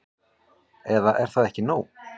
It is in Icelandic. Eða er það ekki nóg?